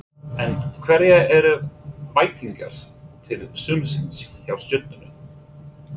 En hverjar eru væntingarnar til sumarsins hjá Stjörnunni?